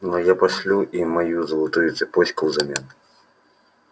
но я пошлю им мою золотую цепочку взамен